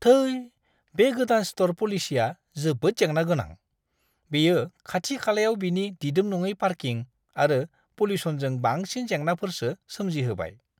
थै! बे गोदान स्ट'र पलिसिया जोबोद जेंना गोनां। बेयो खाथि-खालायाव बिनि दिदोम-नङि पार्किं आरो पल्युसनजों बांसिन जेंनाफोरसो सोमजिहोबाय!